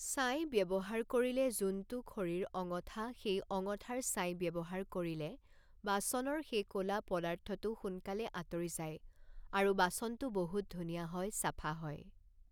ছাই ব্যৱহাৰ কৰিলে যোনটো খৰিৰ অঙঠা সেই অঙঠাৰ ছাই ব্যৱহাৰ কৰিলে বাচনৰ সেই কলা পদাৰ্থটো সোনকালে আতৰি যায় আৰু বাচনটো বহুত ধুনীয়া হয় চাফা হয়